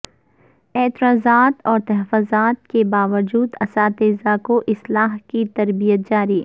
اعتراضات و تحفظات کے باوجود اساتذہ کو اسلحے کی تربیت جاری